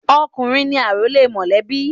Ọkùnrin ni àrólé mọ̀lẹ́bí.